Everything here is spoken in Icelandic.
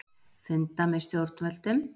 Funda með stjórnvöldum